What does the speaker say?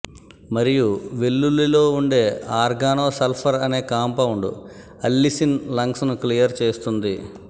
మరియు వెల్లుల్లిలో ఉండే ఆర్గనో సల్ఫర్ అనే కాంపౌడ్ అల్లిసిన్ లంగ్స్ ను క్లియర్ చేస్తుంది